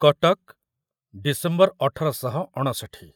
Cuttack December ଅଠର ଶହ ଅଣଷଠି